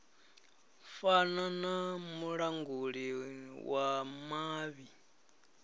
fana na mulanguli wa mavhi